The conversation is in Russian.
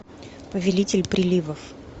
повелитель приливов